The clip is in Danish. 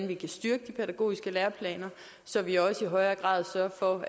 vi kan styrke de pædagogiske læreplaner så vi også i højere grad sørger for